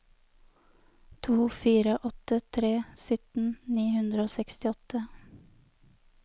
to fire åtte tre sytten ni hundre og sekstiåtte